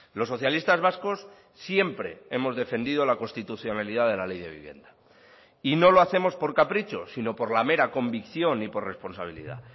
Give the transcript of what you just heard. los socialistas vascos siempre hemos defendido la constitucionalidad de la ley de vivienda y no lo hacemos por capricho sino por la mera convicción y por responsabilidad